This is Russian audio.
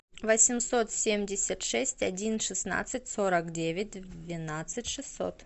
восемьсот семьдесят шесть один шестнадцать сорок девять двенадцать шестьсот